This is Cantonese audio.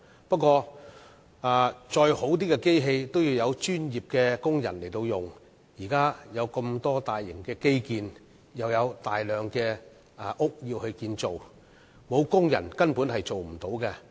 不過再好的機器也需要有專業的工人運用，現時有很多大型基建正在施工，又有大量建屋需要，欠缺工人便無法成事。